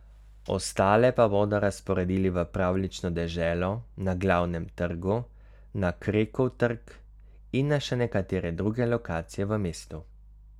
Ostale pa bodo razporedili v Pravljično deželo na Glavnem trgu, na Krekov trg in na še nekatere druge lokacije v mestu.